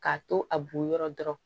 K'a to a bɔnyɔrɔ dɔrɔn